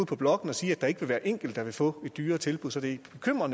på blokken og sige at der ikke vil være enkelte der vil få et dyrere tilbud så det